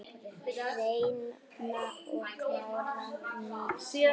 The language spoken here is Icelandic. Hreina og klára mýtu?